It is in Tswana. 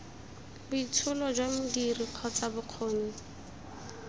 boitsholo jwa modiri kgotsa bokgoni